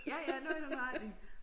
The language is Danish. Ja ja noget i den retning